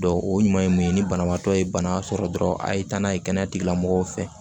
o ɲuman ye mun ye ni banabaatɔ ye bana sɔrɔ dɔrɔn a ye taa n'a ye kɛnɛya tigilamɔgɔw fɛ